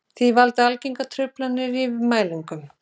Því valda algengar truflanir í mælingum.